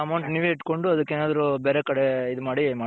amount ನೀವೇ ಇಟ್ಕೊಂಡು ಅದಕ್ ಏನಾದ್ರು ಬೇರೆ ಕಡೆ ಈದ್ ಮಾಡಿ .